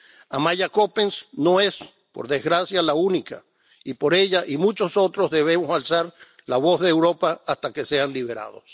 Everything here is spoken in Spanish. Amaya Coppens no es, por desgracia, la única, y por ella y muchos otros debemos alzar la voz de Europa hasta que sean liberados.